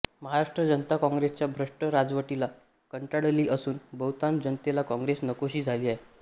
महाराष्ट्र जनता काँग्रेसच्या भ्रष्ट राजवटीला कंटाळली असून बहुतांश जनतेला काँग्रेस नकोशी झाली आहे